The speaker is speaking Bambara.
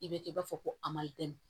I bɛ kɛ i b'a fɔ ko amayidu